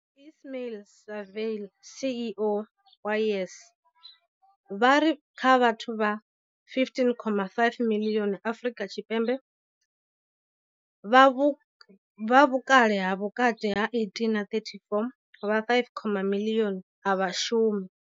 Ismail-Saville CEO wa YES, vha ri kha vhathu vha 15.5 miḽioni Afrika Tshipembe vha vhukale ha vhukati ha 18 na 34, vha 5.8 miḽioni a vha shumi.